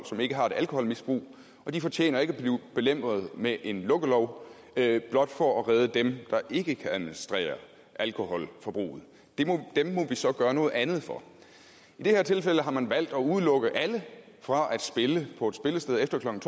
som ikke har et alkoholmisbrug og de fortjener ikke at blive belemret med en lukkelov blot for at redde dem der ikke kan administrere alkoholforbruget dem må vi så gøre noget andet for i det her tilfælde har man valgt at udelukke alle fra at spille på et spillested efter klokken